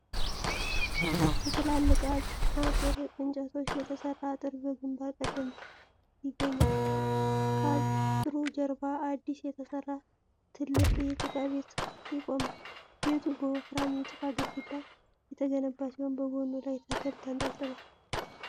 ከትላልቅ አጥር እንጨቶች የተሰራ አጥር በግምባር ቀደምት ይገኛል። ከአጥሩ ጀርባ አዲስ የተሰራ ትልቅ የጭቃ ቤት ይቆማል። ቤቱ በወፍራም የጭቃ ግድግዳ የተገነባ ሲሆን በጎኑ ላይ ተክል ተንጠልጥሏል።